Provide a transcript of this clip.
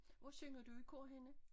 Hvor synger du i kort henne?